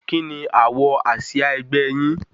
Kíni àwò àsìá ẹgbẹ́ yín?